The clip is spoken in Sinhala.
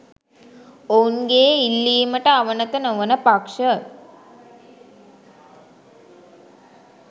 ඔවුන්ගේ ඉල්ලීමට අවනත නොවන පක්ෂ